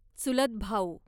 चुलतभाऊ